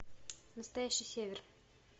настоящий север